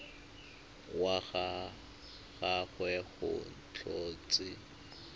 wa ga gagwe go tlhotswe